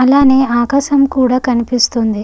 అలానే ఆకాశం కూడా కనిపిస్తుంది.